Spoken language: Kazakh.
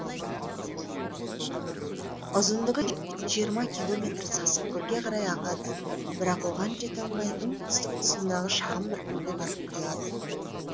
ұзындығы жиырма километр сасықкөлге қарай ағады бірақ оған жете алмай оңтүстік тұсындағы шағын бір көлге барып құяды